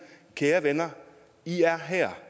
kære venner i er her